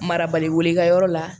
Marabali ka yɔrɔ la